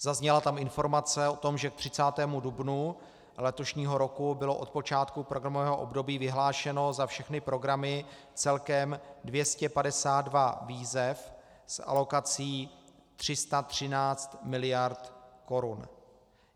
Zazněla tam informace o tom, že k 30. dubnu letošního roku bylo od počátku programového období vyhlášeno za všechny programy celkem 252 výzev s alokací 313 mld. korun.